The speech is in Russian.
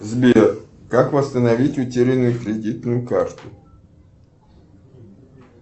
сбер как восстановить утерянную кредитную карту